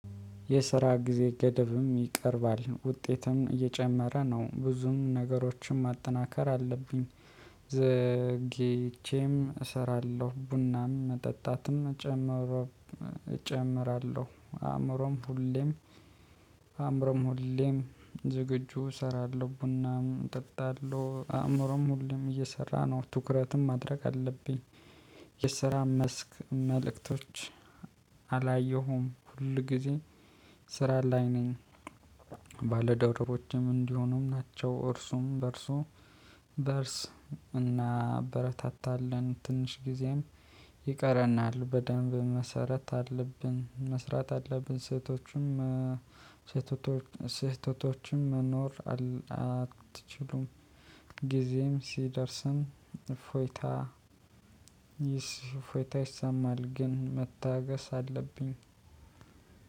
የስራ ጊዜ ገደብም ይቀርባል ውጤትም እየጨመረ ነው ብዙም ነገሮችን ማጠናከር አለብኝ። ዘግይቼም እሰራለሁ ቡናም መጠጣትም እጨምሮ። እጨምራለሁ አእምሮም ሁሌም። አእምሮም ሁሌም ዝግጁ እሰራለሁ ቡናም እጠጣለሁ አእምሮም ሁሉም እየሰራ ነው። ትኩረትም ማድረግ አለብኝ። የስራ መስክ መልእክቶች አላየሁም። ሁል ጊዜ ስራ ላይ ነኝ። ባለደውረሮችም እንዲሆኑም ናቸው እርሱም በእርሱ በእርስ እናበረታታለን። ትንሽ ጊዜም ይቀረናል። በደንብ መሰረት አለብን መስራት አለብን። ስህተቶችም ስህተቶችም መኖር አትችሉም። ጊዜም ሲደርስም እፎይታ እፎይታ ይሰማል። ግን መታገስ አለብኝ።